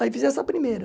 Aí fiz essa primeira.